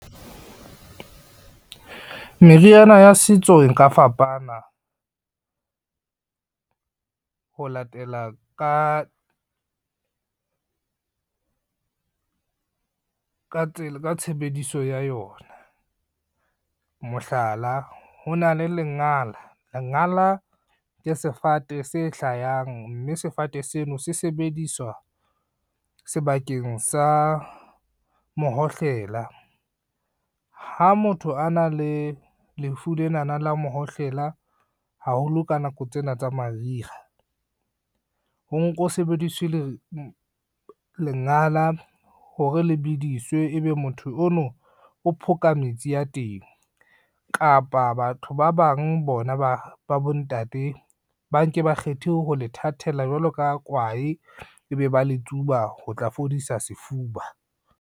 Meriana ya setso e nka fapana, ho latela ka, tshebediso ya yona. Mohlala ho na le lengala, lengala ke sefate se hlayang, mme sefate seno se sebediswa sebakeng sa mohohlela. Ha motho a na le lefu lenana la mohohlela haholo ka nako tsena tsa mariha, ho nko sebediswe le lengala hore le bediswe ebe motho ono o phoja metsi ya teng, kapa batho ba bang bona ba bontate ba nke ba kgethe ho le thathela jwalo ka kwae, ebe ba le tsuba ho tla fodisa sefuba.